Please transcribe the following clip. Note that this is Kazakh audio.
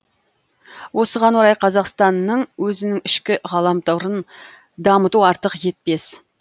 осыған орай қазақстанның өзінің ішкі ғаламторын дамыту артық етпес